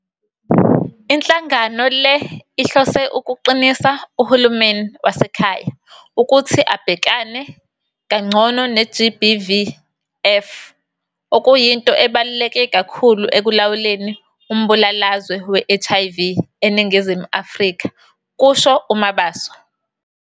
"Inhlangano le ihlose ukuqinisa uhulumeni wasekhaya ukuthi abhekane kangcono ne-GBVF, okuyinto ebaluleke kakhulu ekulawuleni umbulalazwe we-HIV eNingizimu Afrika," kusho uMabaso.